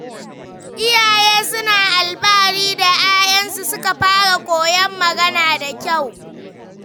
Iyaye suna alfahari idan ‘ya’yansu suka fara koyon magana da kyau.